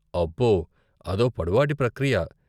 అబ్బో, అదో పొడవాటి ప్రక్రియ.